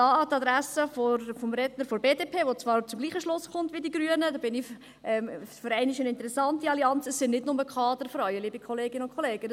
Und hier an die Adresse des Redners der BDP, der zwar zum gleichen Schluss kommt wie die Grünen – für einmal eine interessante Allianz: Es sind nicht nur Kaderfrauen, liebe Kolleginnen und Kollegen.